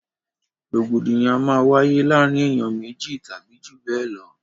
Rògbòdìyàn máa ń wáyé láàrin ènìyàn méjì tàbí jù bẹ lọ